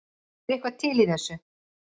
Er eitthvað til í þessu